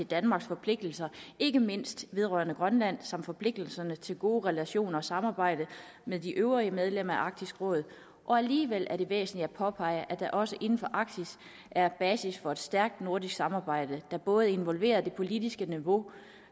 danmarks forpligtelser ikke mindst vedrørende grønland samt forpligtelsen til gode relationer og samarbejde med de øvrige medlemmer af arktisk råd alligevel er det væsentligt at påpege at der også inden for arktis er basis for et stærkt nordisk samarbejde der både involverer det politiske niveau